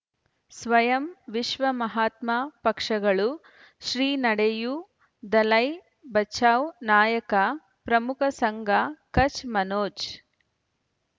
ಸ್ವಯಂ ವಿಶ್ವ ಮಹಾತ್ಮ ಪಕ್ಷಗಳು ಶ್ರೀ ನಡೆಯೂ ದಲೈ ಬಚೌ ನಾಯಕ ಪ್ರಮುಖ ಸಂಘ ಕಚ್ ಮನೋಜ್